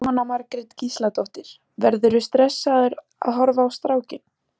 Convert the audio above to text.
Jóhanna Margrét Gísladóttir: Verðurðu stressaður að horfa á strákinn?